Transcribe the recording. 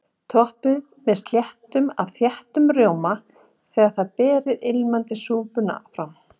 Toppið með slettu af þeyttum rjóma þegar þið berið ilmandi súpuna fram.